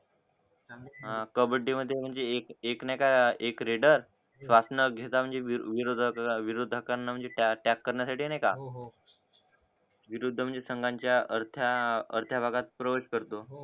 हा कबड्डी मध्ये म्हणजे एक एक नाय का एक लीडर घेता विरोधा विरोधताना त्याक त्याग करण्या साठी नाय का हो होणं विरुद्ध म्हणजे संगांच्या अर्थ्या भागात प्रोवाइड करतो